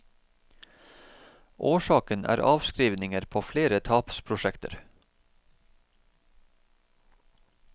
Årsaken er avskrivninger på flere tapsprosjekter.